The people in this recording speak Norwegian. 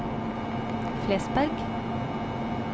Flesberg